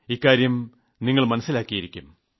ഇക്കാര്യം നിങ്ങൾ മനസ്സിലാക്കിയിരിക്കും